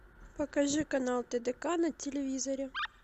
покажи канал тдк на телевизоре